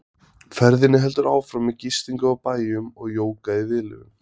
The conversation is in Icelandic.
Ferðinni heldur áfram með gistingu á bæjum og jóga í viðlögum.